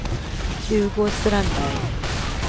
Hugo Strandberg